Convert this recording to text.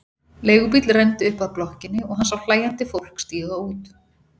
Leigubíll renndi upp að blokkinni og hann sá hlæjandi fólk stíga út.